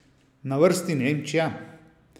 Na vrsti Nemčija?